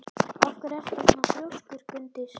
Af hverju ertu svona þrjóskur, Gunndís?